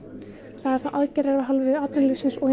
það eru þá aðgerðir af hálfu atvinnulífsins og hins